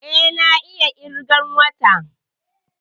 Eh, na iya ƙirgan wata